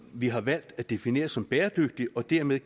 vi har valgt at definere som bæredygtigt og dermed